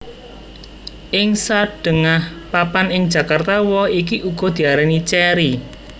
Ing sadhéngah papan ing Jakarta woh iki uga diarani cèri